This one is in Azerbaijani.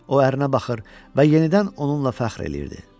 O ərinə baxır və yenidən onunla fəxr eləyirdi.